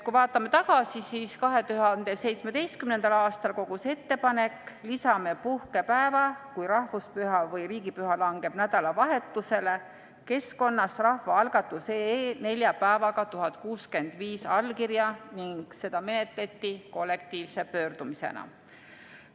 Kui vaatame tagasi, siis 2017. aastal kogus ettepanek "Lisame puhkepäeva, kui rahvuspüha või riigipüha langeb nädalavahetusele" keskkonnas rahvaalgatus.ee nelja päevaga 1065 allkirja ning seda menetleti kollektiivse pöördumisena.